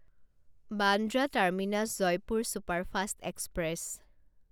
Bandra terminus Jaipur superfast express